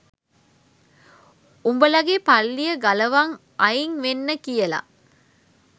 උඹලගේ පල්ලිය ගලවන් අයින් වෙන්න කියල